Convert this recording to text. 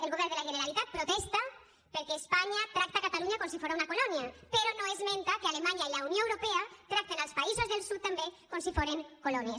el govern de la generalitat protesta perquè espanya tracta catalunya com si fora una colònia però no esmenta que alemanya i la unió europea tracten els països del sud també com si foren colònies